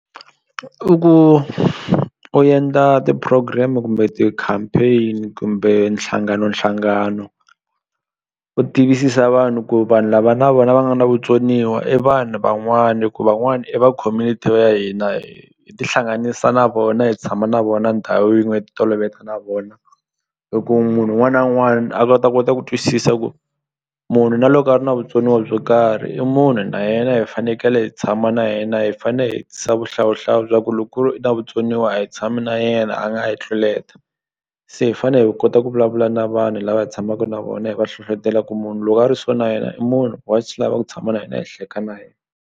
I ku u endla ti-program kumbe ti-campaign kumbe nhlanganonhlangano u tivisisa vanhu ku vanhu lava na vona va nga na vutsoniwa i vanhu van'wani hi ku van'wani i va community ya hina hi tihlanganisa na vona hi tshama na vona ndhawu yin'we hi ti toloveta na vona hi ku munhu wun'wana na wun'wani a ta kota ku twisisa ku munhu na loko a ri na vutsoniwa byo karhi i munhu na yena hi fanekele hi tshama na yena hi fane vuhlawuhlawu bya ku loko ku ri i na vutsoniwa a hi tshami na yena a nga hi tluleta se hi fane hi kota ku vulavula na vanhu lava hi tshamaku na vona hi va hlohlotela ku munhu loko a ri so na yena i munhu wa swi lava ku tshama na hina hi hleka na yena.